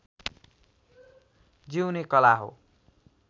जिउने कला हो